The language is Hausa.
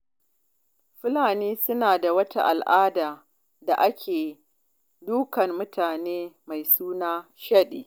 Fulani suna da wata al'ada da ake dukan mutane mai suna shaɗi.